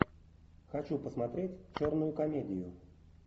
хочу посмотреть черную комедию